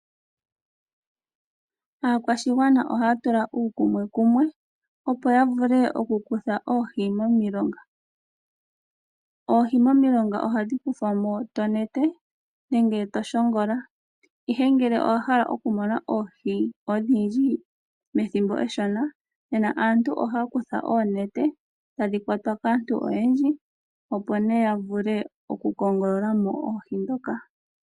Aakwashigwana ohaya tula uukuni kuumwe opo ya vule okukutha oohi momilonga oohi momilonga ohadhi kuthwamo tonete nenge toshongola ihe ngele owahala okumona oohi odhindji methimbo eshona nena aantu oha kutha oonete tadhi kwatwa kaantu oyendji opo ne ya vule okukongololamo oohi dhoka.